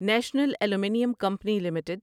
national aluminium company limited